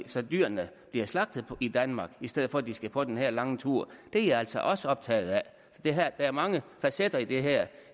så dyrene bliver slagtet i danmark i stedet for at de skal på den her lange tur det er jeg altså også optaget af så der er mange facetter i det her